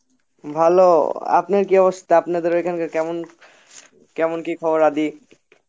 ভালো, আপনার কি অবস্থা আপনাদের ঐখানকার কেমন কি খবর আদি